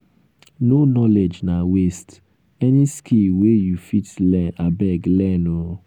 no knowledge na waste any skill wey you fit learn abeg learn o